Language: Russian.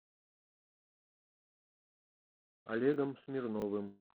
олегом смирновым